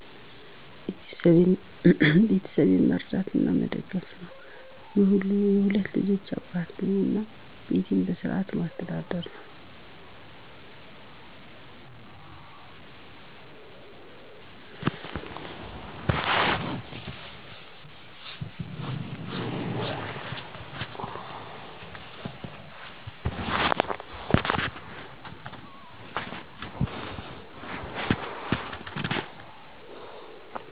ቤተሰቤን መርዳት እና መደገፍ ነው። የሁለት ልጆች አባት ነኝ እና ቤቴን በስርዓት ማስተዳደር ነው።